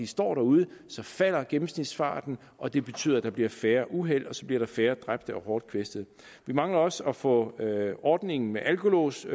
står derude falder gennemsnitsfarten og det betyder at der bliver færre uheld og så bliver der færre dræbte og hårdt kvæstede vi mangler også at få ordningen med alkolås